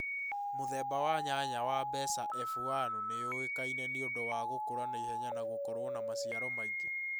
Mũthemba wa nyanya wa mbeca F1 nĩ yũĩkaine nĩũndu wa gũkũra naĩhenya na gũkorũo na macĩaro maĩngĩ